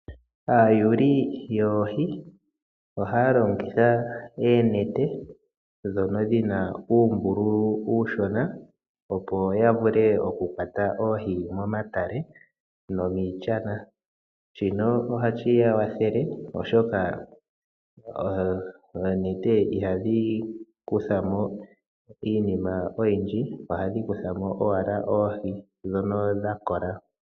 Aayuuli yoohi ohaya longitha eenete dhono dhina uumbululu uushona oku hogololamo nenge oku kwata oohi momatale nomiishana. Shino ohashi ya kwathele oshoka oonete ihadhi kuthamo iinima oyindji ohadhi kuthamo owala oohi dhono dhakola.